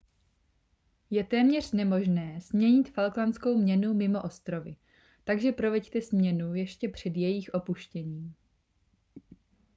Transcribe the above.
je téměř nemožné směnit falklandskou měnu mimo ostrovy takže proveďte směnu ještě před jejich opuštěním